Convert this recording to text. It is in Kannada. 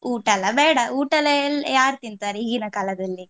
ಊಟಯೆಲ್ಲ ಬೇಡ ಊಟಯೆಲ್ಲ ಯಾರು ತಿಂತಾರೆ ಈಗಿನ ಕಾಲದಲ್ಲಿ.